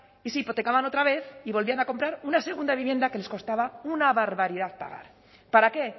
y se hipotecaban otra vez y volvían a comprar una segunda vivienda que les costaba una barbaridad pagar para qué